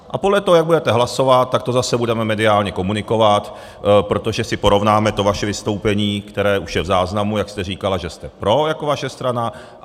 A podle toho, jak budete hlasovat, tak to zase budeme mediálně komunikovat, protože si porovnáme to vaše vystoupení, které už je v záznamu, jak jste říkala, že jste pro, jako vaše strana.